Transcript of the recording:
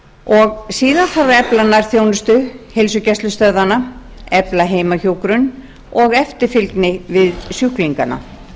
síðan þarf að efla nærþjónustu heilsugæslustöðvanna efla heimahjúkrun og eftirfylgni við sjúklingana